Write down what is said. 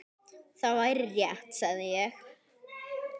Það væri rétt, sagði ég.